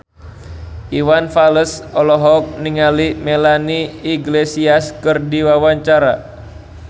Iwan Fals olohok ningali Melanie Iglesias keur diwawancara